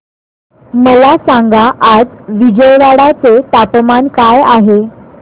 मला सांगा आज विजयवाडा चे तापमान काय आहे